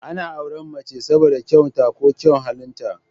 Ana auren mace saboda kyaun ta ko kyaun halin ta